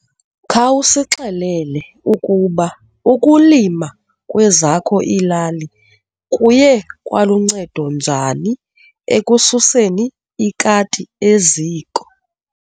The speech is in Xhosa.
Khawusixelele ukuba ukulima kwezakho iilali kuye kwaluncedo njani ekususeni ikati eziko.